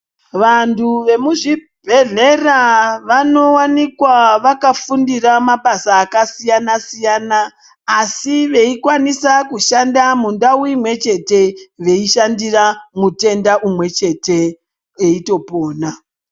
Vantu vemuzvibhedhlera vanowanikwa vakafundira mabasa akasiyana siyana asi veikwanisa kushanda mundau imwechete veishandira mutenda umwechete eitopona.